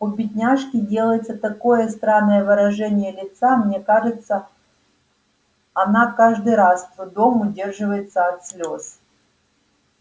у бедняжки делается такое странное выражение лица мне кажется она каждый раз с трудом удерживается от слез